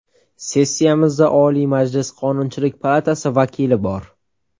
Sessiyamizda Oliy Majlis Qonunchilik palatasi vakili bor.